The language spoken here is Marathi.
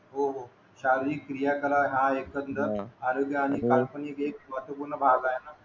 हो हो शारीरिक कार्य करा हा एखंदर आरोग्य आणि काल्पनिक एक महत्व पूर्ण भाग आहे ना